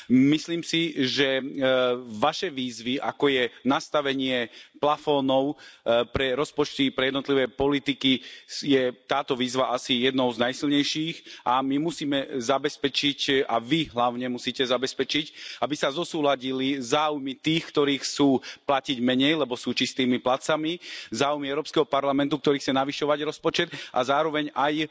Myslím si, že z vašich výziev, ako nastavenie stropov pre rozpočty pre jednotlivé politiky, je táto výzva asi jednou z najsilnejších a my musíme zabezpečiť, a hlavne vy musíte zabezpečiť, aby sa zosúladili záujmy tých, ktorí chcú platiť menej, lebo sú čistými platcami, záujmy Európskeho parlamentu, ktorý chce navyšovať rozpočet, a zároveň aj